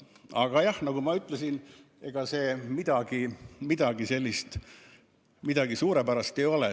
Aga jah, nagu ma ütlesin, ega see eelnõu midagi suurepärast ei ole.